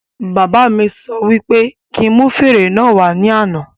Bàbá mí sọ wí pé kí n mú fèrè náà wà ní àna